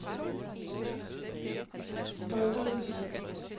Bolderis